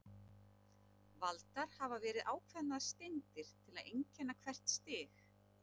Valdar hafa verið ákveðnar steindir til að einkenna hvert stig.